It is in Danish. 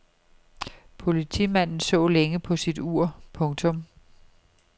Politimanden så længe på sit ur. punktum